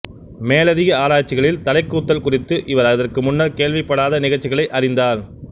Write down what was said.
மேலதிக ஆராய்ச்சிகளில் தலைக்கூத்தல் குறித்து அவர் இதற்கு முன்னர் கேள்விப்படாத நிகழ்ச்சிகளை அறிந்தார்